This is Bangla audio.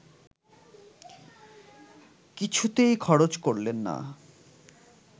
কিছুতেই খরচ করলেন না